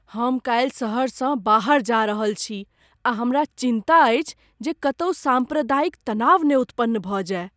हम कालि सहरसँ बाहर जा रहल छी आ हमरा चिन्ता अछि जे कतहु साम्प्रदायिक तनाव ने उत्पन्न भऽ जाइ।